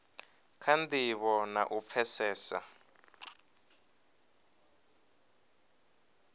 kha ndivho na u pfesesa